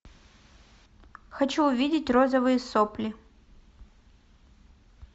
хочу увидеть розовые сопли